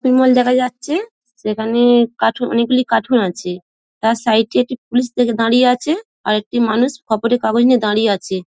দেখা যাচ্ছে সেখানে কাঠু অনেকগুলি কাঠুন আছে | তার সাইড -এ একটি পুলিশরা দাঁড়িয়ে আছে ৷ আর একটি মানুষ খবরের কাগজ নিয়ে দাঁড়িয়ে আছে।